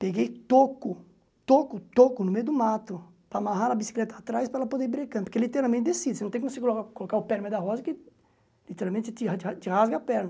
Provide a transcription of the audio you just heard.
Peguei toco, toco, toco no meio do mato, para amarrar a bicicleta atrás para ela poder ir brecando, porque literalmente descida, você não tem como você colocar o pé no meio da roda que literalmente te ra te ra te rasga a perna.